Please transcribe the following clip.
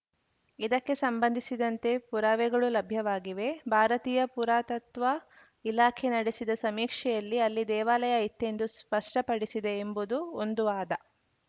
ಇದಕ್ಕೆ ಸಂಬಂಧಿಸಿದಂತೆ ಪುರಾವೆಗಳೂ ಲಭ್ಯವಾಗಿವೆ ಭಾರತೀಯ ಪುರಾತತ್ವ ಇಲಾಖೆ ನಡೆಸಿದ ಸಮೀಕ್ಷೆಯಲ್ಲಿ ಅಲ್ಲಿ ದೇವಾಲಯ ಇತ್ತೆಂದು ಸ್ಪಷ್ಟಪಡಿಸಿದೆ ಎಂಬುದು ಒಂದು ವಾದ